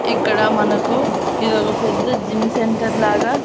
ఇక్కడ మనకు ఇదొక పెద్ద జిమ్ సెంటర్ లాగా--